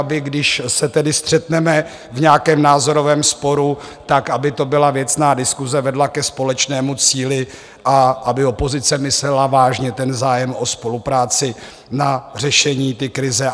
Aby když se tedy střetneme v nějakém názorovém sporu, tak aby to byla věcná diskuse, vedla ke společnému cíli a aby opozice myslela vážně ten zájem o spolupráci na řešení té krize.